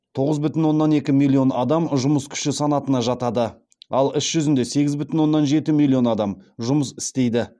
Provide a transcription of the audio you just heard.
тоғыз бүтін оннан екі миллион адам жұмыс күші санатына жатады ал іс жүзінде сегіз бүтін оннан жеті миллион адам жұмыс істейді